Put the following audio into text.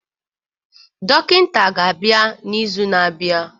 Dọkịta ga-abịa n'izu na-abịa